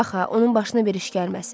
Bax ha, onun başına bir iş gəlməsin.